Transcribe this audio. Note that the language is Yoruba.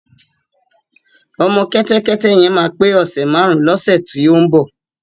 Ọmọ kẹ́tẹ́kẹ́té yẹn máa pé ọ̀sè márun lọ́sè tí ó ń bọ̀.